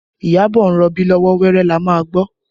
Iyabọ̀ ń rọbí lọ́wọ́, wẹ́rẹ́ la máa gbọ́